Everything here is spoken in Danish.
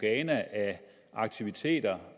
af aktiviteter